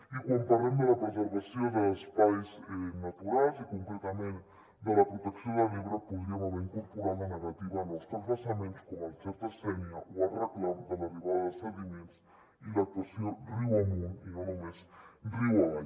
i quan parlem de la preservació d’espais naturals i concretament de la protecció de l’ebre podríem haver incorporat la negativa a nous transvasaments com el xer·ta·sénia o el reclam de l’arribada de sediments i l’actuació riu amunt i no només riu avall